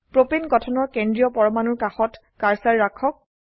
propane গঠনৰ কেন্দ্ৰীয় পৰমাণুৰ কাষত কাৰ্সাৰ ৰাখক